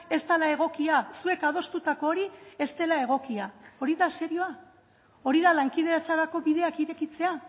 ez dela egokia zuek adostutako hori ez dela egokia hori da serioa hori da lankidetzarako bideak irekitzea